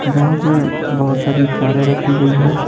जहाँ पे बहुत सारी कारें रखी गई है।